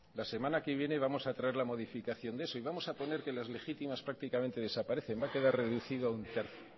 la semana que viene vamos a traer la modificación de eso y vamos a poner que las legítimas prácticamente desaparecen van a quedar reducido a un tercio